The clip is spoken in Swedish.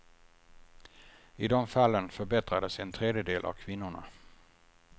I de fallen förbättrades en tredjedel av kvinnorna.